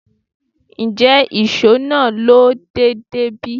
Njẹ iṣọ naa lo deede bi?